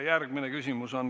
Järgmine küsimus.